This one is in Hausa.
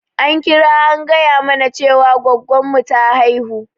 An kira a gaya mana Cewa gwaggon mu ta haihu.